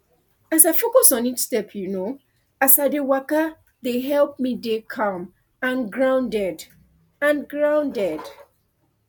as i focus on each step you know as i dey waka dey help me dey calm and grounded and grounded